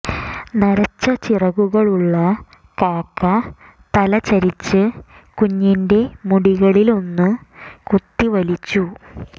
നരച്ച ചിറകുകളുള്ള കാക്ക തല ചരിച്ച് കുഞ്ഞിന്റെ മുടികളിലൊന്ന് കൊത്തി വലിച്ചു